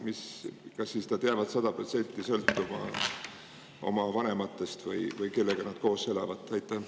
Kas nad jäävad 100% sõltuma oma vanematest või kellega nad koos elavad?